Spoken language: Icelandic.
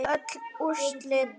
Öll úrslit